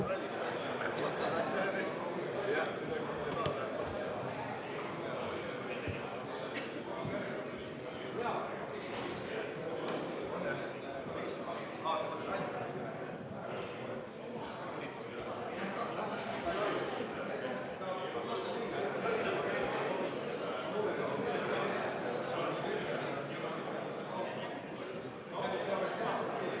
Vaheaeg viis minutit.